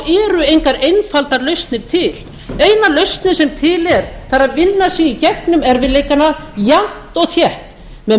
eru engar einfaldar lausnir til eina lausn sem til er það er að vinna sig í gegnum erfiðleikana jafnt og þétt með